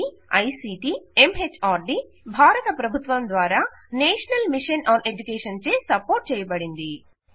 ఇది ICT MHRD భారత ప్రభుత్వం ద్వారా నేషనల్ మిషన్ ఆన్ ఎడ్యుకేషన్చే సపోర్ట్ చేయబడినది